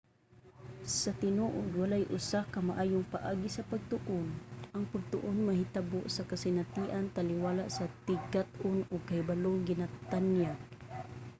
sa tinuod walay usa ka maayong paagi sa pagtuon. ang pagtuon mahitabo sa kasinatian taliwala sa tigkat-on ug kahibalong ginatanyag